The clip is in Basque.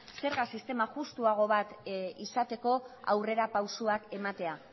zerga sistema justuago bat izateko aurrerapausoak ematea